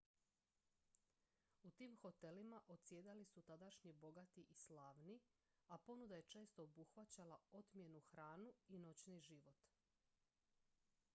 u tim hotelima odsjedali su tadašnji bogati i slavni a ponuda je često obuhvaćala otmjenu hranu i noćni život